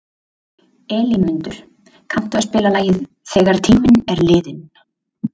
Elínmundur, kanntu að spila lagið „Þegar tíminn er liðinn“?